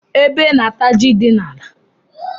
Ébé na -ata jị dị n'ala.